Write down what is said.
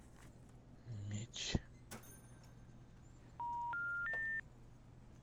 меч